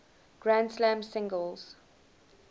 grand slam singles